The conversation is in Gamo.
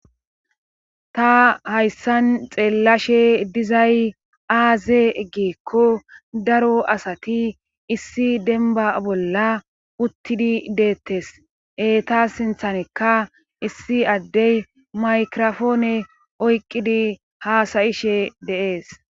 Ta hayssan xeellashe dizay aaze giikko daro asati issi demba bolla uttidi deettes. Taa sinthanikka issi addey maykiropoone oyqqidi haasayishe dees.